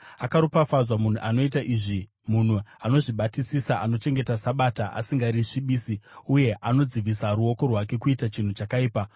Akaropafadzwa munhu anoita izvi, munhu anozvibatisisa, anochengeta Sabata asingarisvibisi, uye anodzivisa ruoko rwake kuita chinhu chakaipa.”